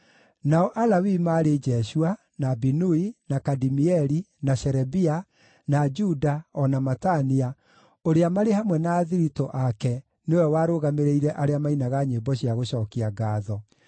Nao Alawii maarĩ Jeshua, na Binui, na Kadimieli, na Sherebia, na Juda, o na Matania, ũrĩa, marĩ hamwe na athiritũ ake, nĩwe warũgamĩrĩire arĩa maainaga nyĩmbo cia gũcookia ngaatho.